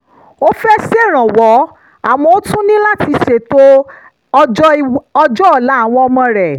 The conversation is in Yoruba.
ó fẹ́ ṣèrànwọ́ àmọ́ ó tún ní láti ṣètò ọjọ́ ọ̀la àwọn ọmọ rẹ̀